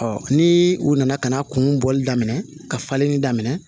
ni u nana ka na kun bɔli daminɛ ka falenni daminɛ